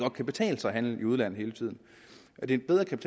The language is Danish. kan betale sig at handle i udlandet at det bedre kan